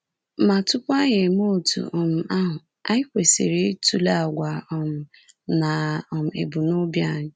Ma tupu anyị emee otú um ahụ, anyị kwesịrị ịtụle àgwà um na um ebumnobi anyị.